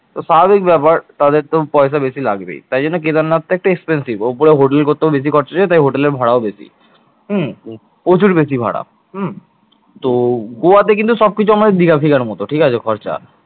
তো স্বাভাবিক ব্যাপার তাদেরতো পয়সা বেশি তো লাগবেই। তাই জন্য কেদারনাথটা একটু expensive ওপরে hotel করতেও বেশি খরচা যায় তাই hotel এর ভাড়াও বেশি। প্রচুর বেশি ভাড়া তো গোয়াতে কিন্তু সবকিছু আমাদের দিঘা ফিগার মতো ঠিক আছে খরচা